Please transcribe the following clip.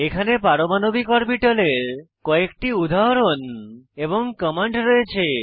এখানে পারমাণবিক অরবিটালের কয়েকটি উদাহরণ এবং কমান্ড রয়েছে